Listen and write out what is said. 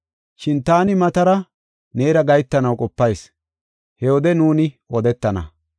Shin taani matara neera gahetanaw qopayis; he wode nuuni odetana.